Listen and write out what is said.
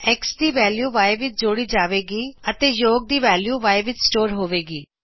X ਦੀ value Yਵਿਚ ਜੋੜੀ ਜਾਏ ਗੀ ਅਤੇ ਯੋਗ ਦੀ ਵੈਲਯੂ Y ਵਿਚ ਸਟੋਰ ਹੋਵੇ ਗੀ